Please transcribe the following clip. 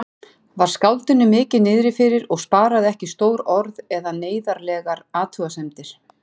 Var skáldinu mikið niðrifyrir og sparaði ekki stór orð eða neyðarlegar athugasemdir.